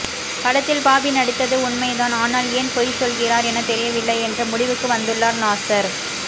படத்தில் பாபி நடித்தது உண்மை தான் ஆனால் ஏன் பொய் சொல்கிறார் என தெரியவில்லை என்ற முடிவுக்கு வந்துள்ளார் நாசர்